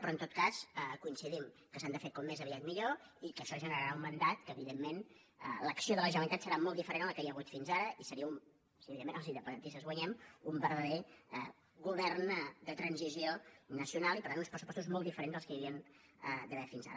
però en tot cas coincidim que s’han de fer com més aviat millor i que això generarà un mandat en què evidentment l’acció de la generalitat serà molt diferent de la que hi ha hagut fins ara i seria evidentment si els independentistes guanyem un verdader govern de transició nacional i per tant uns pressupostos molt diferents dels que hi havia d’haver fins ara